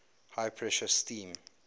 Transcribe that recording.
high pressure steam